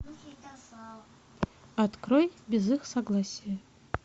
открой без их согласия